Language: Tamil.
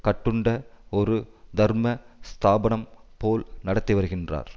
கட்டுண்ட ஒரு தர்ம ஸ்தாபனம் போல் நடத்தி வருகின்றார்